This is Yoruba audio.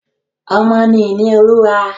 Ọmọ ni ìní Olúwa.